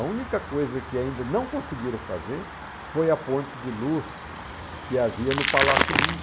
A única coisa que ainda não conseguiram fazer foi a ponte de luz que havia no Palácio Mingue.